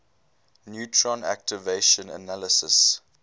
neutron activation analysis